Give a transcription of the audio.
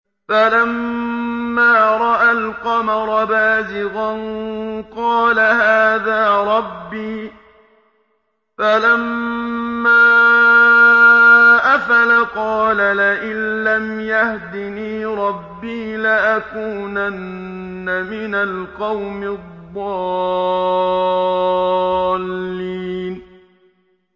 فَلَمَّا رَأَى الْقَمَرَ بَازِغًا قَالَ هَٰذَا رَبِّي ۖ فَلَمَّا أَفَلَ قَالَ لَئِن لَّمْ يَهْدِنِي رَبِّي لَأَكُونَنَّ مِنَ الْقَوْمِ الضَّالِّينَ